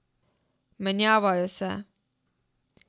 Menjavajo se.